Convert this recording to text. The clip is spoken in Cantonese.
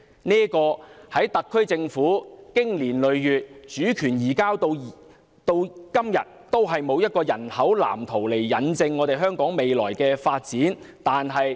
在這方面，特區政府經年累月，從主權移交至今，從沒有提出人口藍圖來印證香港未來的發展。